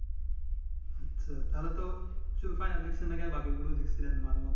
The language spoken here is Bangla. আচ্ছা তা হলে তো শুধু final দেখছেন না কি বাকি গুলো দেখছিলেম মাঝে মধ্যে